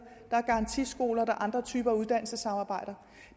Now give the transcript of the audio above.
der er garantiskoler og der er andre typer af uddannelsessamarbejder